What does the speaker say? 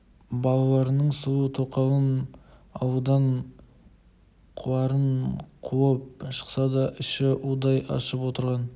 балаларының сұлу тоқалын ауылдан қуарын қуып шықса да іші удай ашып отырған